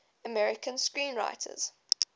american screenwriters